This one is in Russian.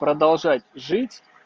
продолжать жить